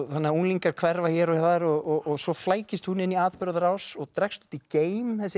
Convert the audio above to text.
þannig að unglingar hverfa hér og þar og svo flækist hún inn í atburðarás og dregst út í geim þessi